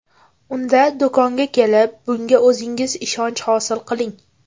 Unda do‘konga kelib, bunga o‘zingiz ishonch hosil qiling!